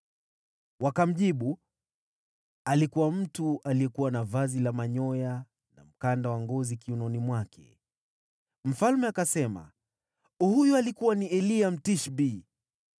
Wakamjibu, “Alikuwa mtu aliyekuwa na vazi la manyoya na mkanda wa ngozi kiunoni mwake.” Mfalme akasema, “Huyo alikuwa ni Eliya, Mtishbi.”